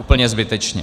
Úplně zbytečně.